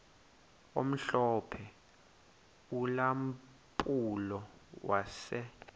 omhlophe ulampulo wase